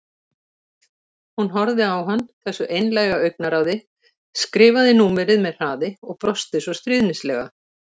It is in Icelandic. Hún horfði á hann, þessu einlæga augnaráði, skrifaði númerið með hraði og brosti svo stríðnislega.